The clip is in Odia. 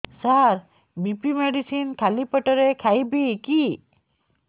ସାର ବି.ପି ମେଡିସିନ ଖାଲି ପେଟରେ ଖାଇବି କି